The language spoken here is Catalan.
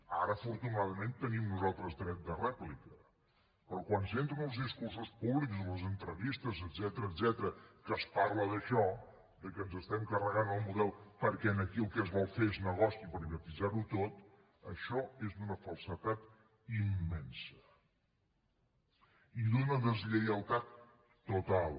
ara afortunadament tenim nosaltres dret de rèplica però quan sento en els discursos públics i les entrevistes etcètera que es parla d’això que ens estem carregant el model perquè aquí el que es vol fer és negoci i privatitzar ho tot això és d’una falsedat immensa i d’una deslleialtat total